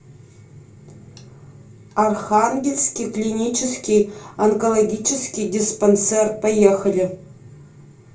архангельский клинический онкологический диспансер поехали